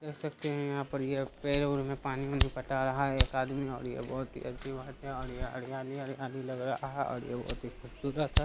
देख सकते है की यहाँ पर ये पेड़-उड़ में पानी-वानी पटा रहा है एक आदमी और यह बहुत ही अजीब आदमी है और यहाँ हरयाली-हरयाली लग रहा है और यह बहुत ही खूबसूरत है।